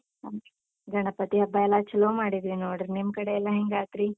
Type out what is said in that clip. ಹ್ಮ್, ಗಣಪತಿ ಹಬ್ಬ ಎಲ್ಲ ಚಲೋ ಮಾಡಿದ್ವಿ ನೋಡ್ರಿ, ನಿಮ್ ಕಡೆ ಎಲ್ಲ ಹೆಂಗಾತ್ರಿ?